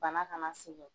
Bana kana segin